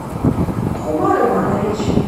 хумар иванович